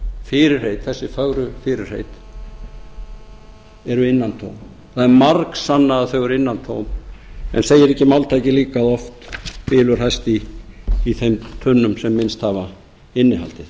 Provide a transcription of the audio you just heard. fyrirheit þessi fögru fyrirheit eru innantóm það er margsannað að þau eru innantóm en segir ekki máltækið líka oft bylur hæst í tunnum sem minnst hafa innihaldið